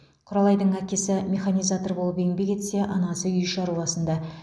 құралайдың әкесі механизатор болып еңбек етсе анасы үй шаруасында